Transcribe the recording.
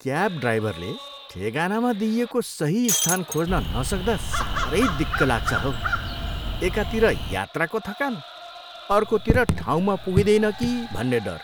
Cab ड्राइभरले ठेगानामा दिइएको सही स्थान खोज्न नसक्दा साह्रै दिक्क लाग्छ हौ। एकातिर यात्राको थकान, अर्कोतिर ठाउँमा पुगिँदैन कि भन्ने डर!